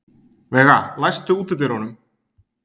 Veiga, læstu útidyrunum.